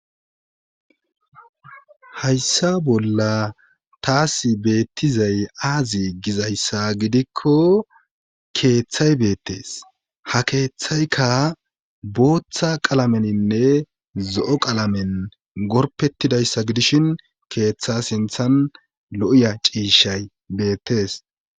Hayssa bolla taas beettizay aazi gizayssa gidikko keeththay beettees ha keeththaykka booththa qalameninne zo'o qalamen gorpettidayssa gidishin keeththa sinthan lo'iya ciishay beettees